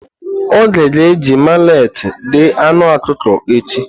Oge ga-eji maleti deé anu ọkụkọ echi.